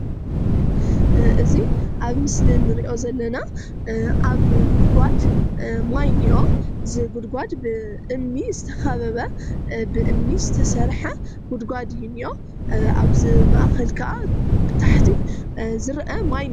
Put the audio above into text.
እዚ ኣብ ምስሊ እንሪኦ ዘለና ዓብይ ጉድጓድ ማይ እንአ እዚ ጉድጓድ ብእምኒ ዝተከበበ ብእምኒ ዝተሰርሐ ጉድጓድ እዩ እንአ፡፡ ኣብ'ዚ ማእከሉ ካኣ ብታሕቲ ዝረአ ማይ እንአ፡፡